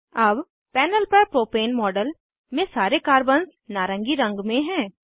अब पैनल पर propane model में सारे कार्बन्स नारंगी रंग में हैं